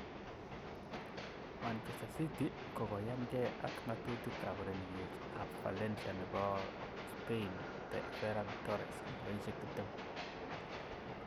(Evening Standard) Manchester City kokoyanke ak ngatutik ab urerenindet ab Valencia nebo Spain Ferran Torres,20.